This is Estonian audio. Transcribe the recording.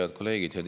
Head kolleegid!